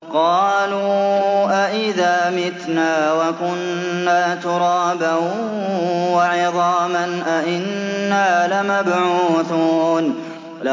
قَالُوا أَإِذَا مِتْنَا وَكُنَّا تُرَابًا وَعِظَامًا أَإِنَّا لَمَبْعُوثُونَ